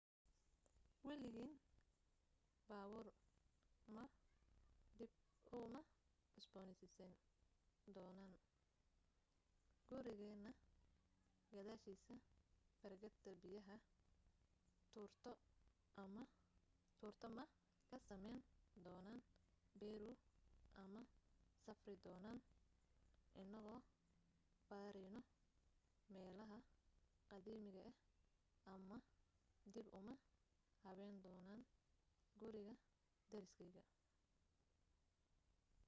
waligeen baabuur ma dib u ma cusbooneysiin doonin gurigeena gadaashiisa barkadda biyaha tuurto ma ka samayn doonin peru uma safri doonin inagoo baarayno meelaha qadiimiga ah ama dib uma habayn doonin guriga deriskeyga